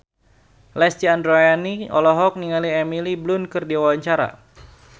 Lesti Andryani olohok ningali Emily Blunt keur diwawancara